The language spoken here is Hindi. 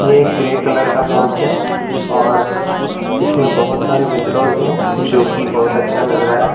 ये एक ग्रे कलर का हाउस है और इसमें बहुत सारा विंडोज हैं जो की बहुत अच्छा लग रहा है।